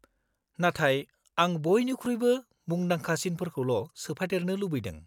-नाथाय, आं बयनिख्रुइबो मुंदांखासिनफोरखौल' सोफादेरनो लुबैदों।